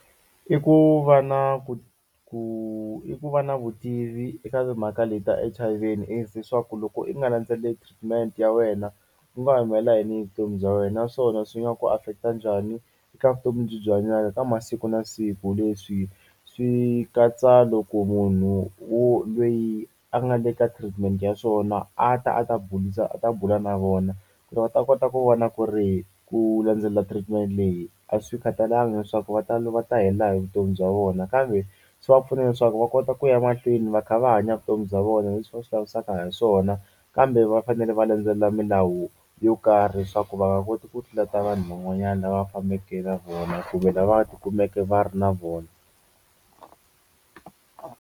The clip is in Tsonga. I ku va na ku ku i ku va na vutivi eka timhaka le ta H_I_V na AIDS leswaku loko i nga landzeleli treatment ya wena ku nga humelela yini hi vutomi bya wena naswona swi nga ku affect-a njhani eka vutomi lebyi i byi hanyaka ka masiku na siku leswi swi katsa loko munhu wo lweyi a nga le ka treatment ya swona a ta a ta a ta bula na vona ku ri va ta kota ku vona ku ri ku landzelela treatment leyi a swi khatalanga leswaku va ta va ta helela hi vutomi bya vona kambe swi va pfuna leswaku va kota ku ya mahlweni va kha va hanya vutomi bya vona leswi va swi lavisaka ha swona kambe va fanele va landzelela milawu yo karhi leswaku va nga koti ku tlula ta vanhu van'wanyani lava va fambeke na vona kumbe lava ti kumeke va ri na vona.